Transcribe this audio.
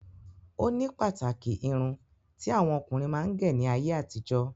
Oni pàtàkì irun tí àwọn ọkùnrin máa ń gẹ̀ ní ayé àtijó